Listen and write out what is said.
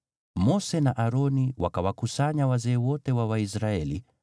Mose na Aroni wakawakusanya wazee wote wa Waisraeli,